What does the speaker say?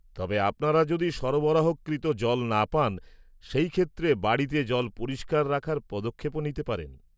-তবে আপনারা যদি সরবরাহকৃত জল না পান, সেই ক্ষেত্রে বাড়িতে জল পরিষ্কার রাখার পদক্ষেপও নিতে পারেন।